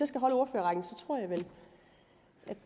skal holde ordførerrækken